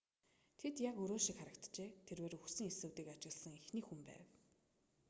тэд яг өрөө шиг харагджээ тэрбээр үхсэн эсүүдийг ажигласан эхний хүн байв